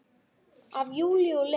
Af Júlíu og Lenu.